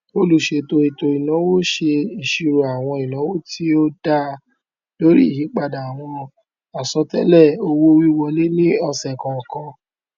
olùṣètò ètòìnáwó ṣe ìṣírò àwọn ináwó tí ó dá lórí ìyípadà àwọn àsọtélè owówíwọlé ní ọsẹ kọọkan